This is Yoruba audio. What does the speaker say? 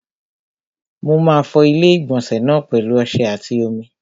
Mo máa fọ ilé-ìgbọ̀nsẹ̀ náà pẹ̀lu ọsẹ àti omi.